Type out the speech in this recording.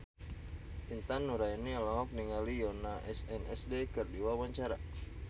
Intan Nuraini olohok ningali Yoona SNSD keur diwawancara